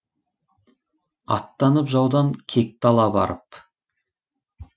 аттанып жаудан кекті ала барып